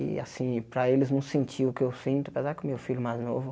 E assim, para eles não sentir o que eu sinto, apesar que o meu filho mais novo.